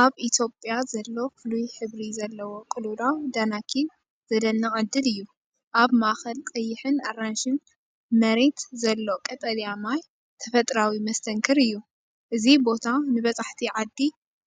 ኣብ ኢትዮጵያ ዘሎ ፍሉይ ሕብሪ ዘለዎ ቅልውላው ዳናኪል ዘደንቕ ዕድል እዩ። ኣብ ማእከል ቀይሕን ኣራንሺን መሬት ዘሎ ቀጠልያ ማይ ተፈጥሮኣዊ መስተንክር እዩ። እዚ ቦታ ንበጻሕቲ ዓዲ